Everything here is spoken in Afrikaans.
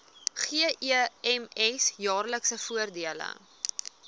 gems jaarlikse voordele